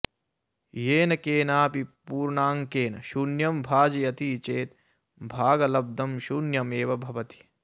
येन केनापि पूर्णाङ्केन शून्यं भाजयति चेत् भागलब्धं शून्यमेव भवति